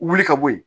Wuli ka bɔ yen